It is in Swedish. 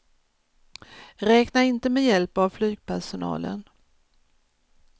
Räkna inte med hjälp av flygpersonalen.